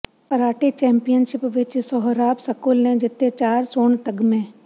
karate championship ਵਿੱਚ Sohrab school ਨੇ ਜਿੱਤੇ ਚਾਰ ਸੋਨ ਤਗ਼ਮੇ